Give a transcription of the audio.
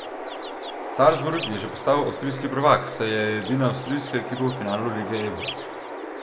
Salzburg je že postal avstrijski prvak, saj je edina avstrijska ekipa v finalu Lige Ebel.